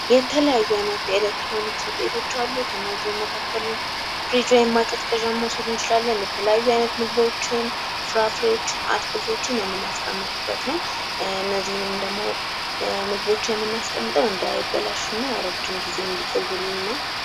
የተለያዩ አይነት የኤሌክትሮኒክስ ውጤቶች አሉ ። ከእነዚህም መካከል ፍሪጅ ወይም ማቀዝቀዣ መውሰድ እንችላለን ። የተለያዩ አይነት ምግቦችን፣ ፍራፍሬዎችን ፣ አትክልቶችን የምናስቀምጥበት ነው ። እነዚህንም ደግሞ ምግቦች የምናስቀምጠው እንዳይበላሹ እና ረጅም ጊዜ እንዲቆዩልን ነው ።